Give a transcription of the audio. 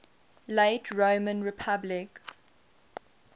late roman republic